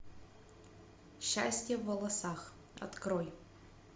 счастье в волосах открой